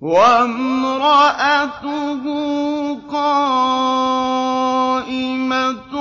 وَامْرَأَتُهُ قَائِمَةٌ